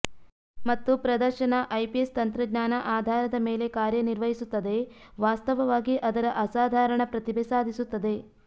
ಮತ್ತು ಪ್ರದರ್ಶನ ಐಪಿಎಸ್ ತಂತ್ರಜ್ಞಾನ ಆಧಾರದ ಮೇಲೆ ಕಾರ್ಯನಿರ್ವಹಿಸುತ್ತದೆ ವಾಸ್ತವವಾಗಿ ಅದರ ಅಸಾಧಾರಣ ಪ್ರತಿಭೆ ಸಾಧಿಸುತ್ತದೆ